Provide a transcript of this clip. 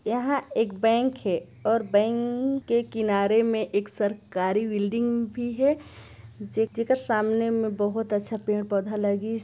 यहाँ एक बैंक हे और बैंक के किनारे में एक सरकारी बिल्डिंग भी हे जे जे जेकर सामने में बहोत अच्छा पेड़-पौधा लगिस--